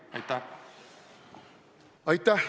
Aitäh!